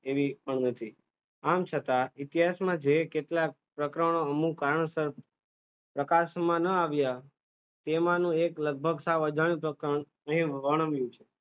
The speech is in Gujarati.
એવી પણ નથી, આમ છતાં ઇતિહાસમાં જે કેટલાક પ્રકરણો અમુક કારણસર પ્રકાશમાં ન આવ્યા, તેમાંનો એક લગભગ સાવ અજાણ્યો પ્રકરણ અહીં વર્ણવ્યું છે.